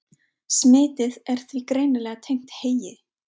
Smitið er því greinilega tengt heyi.